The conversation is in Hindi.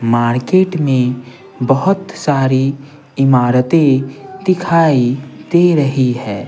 मार्केट में बहुत सारी इमारतें दिखाई दे रही हैं।